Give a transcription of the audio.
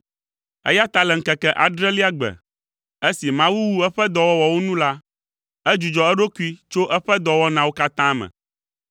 Eya ta le ŋkeke adrelia gbe, esi Mawu wu eƒe dɔwɔwɔwo nu la, edzudzɔ eɖokui tso eƒe dɔwɔnawo katã me.